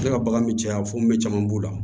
Ne ka bagan bɛ caya funun be caman b'o la